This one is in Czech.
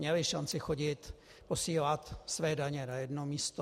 Měli šanci chodit - posílat své daně na jedno místo.